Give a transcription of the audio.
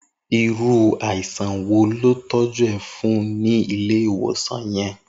Irù áisàn wó lọ tọjù è fùn ni Ilé iwòsán yèn?